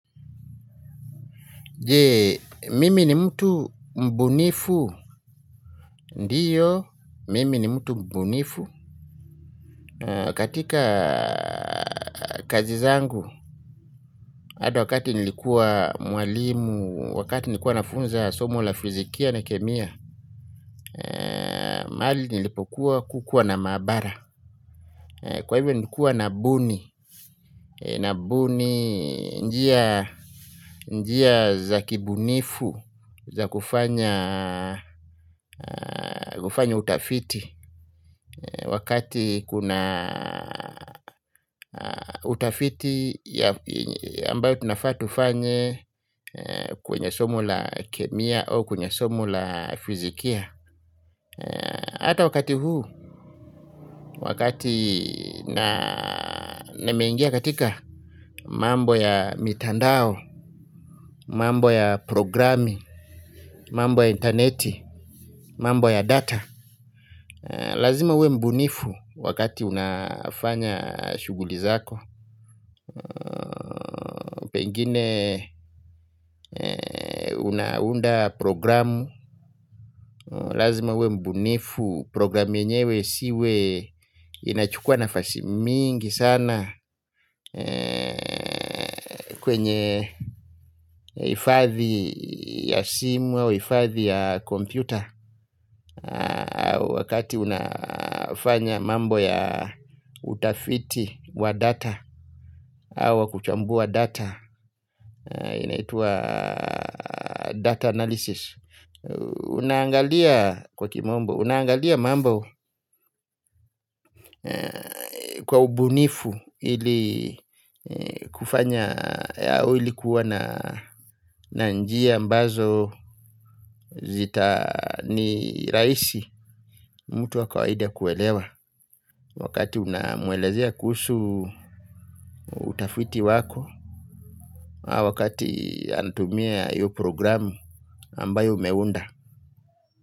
Je, mimi ni mtu mbunifu, ndiyo, mimi ni mtu mbunifu. Katika kazi zangu, hadi wakati nilikuwa mwalimu, wakati nilikuwa nafunza somo la fizikia na kemia. Mahali nilipokuwa kukuwa na mabara. Kwa hivyo nikuwa na buni, na buni njia za kibunifu, za kufanya utafiti. Wakati kuna utafiti ambayo tunafaat ufanye. Kwenye somo la kemia au kwenye somo la fizikia. Ata wakati huu. Wakati na nimeingia katika mambo ya mitandao. Mambo ya programi. Mambo ya interneti. Mambo ya data. Lazima uwe mbunifu. Wakati unafanya shughuli zako. Pengine unaunda programu. Lazima uwe mbunifu programu yenyewe isiwe inachukua nafasi mingi sana. Kwenye hifadhi ya simu au hifadhi ya kompyuta. Wakati unafanya mambo ya utafiti wa data auwa kuchambua data. Inaitwa data analysis. Unaangalia kwa kimombo, unaangalia mambo kwa ubunifu ilikuwa na njia ambazo zita ni rahisi mtu wakawaida kuelewa. Wakati unamwelezea kuhusu utafiti wako, wakati anatumia hiyo programu ambayo umeunda.